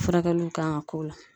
Furakɛliw kan ka k'o la.